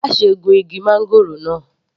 Má ṣe gun igi máńgòrò náà.